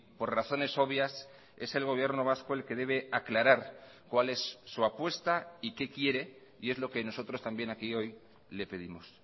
por razones obvias es el gobierno vasco el que debe aclarar cuál es su apuesta y qué quiere y es lo que nosotros también aquí hoy le pedimos